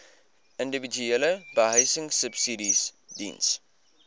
individuele behuisingsubsidies diens